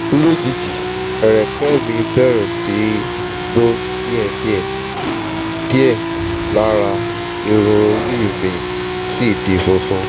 lójijì ẹrẹ̀kẹ́ mi bẹ̀rẹ̀ sí í bọ́ díẹ̀díẹ̀ díẹ̀ lára irun orí mi sì di funfun